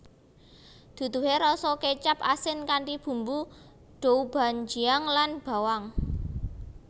Duduhe rasa kecap asin kanthi bumbu doubanjiang lan bawang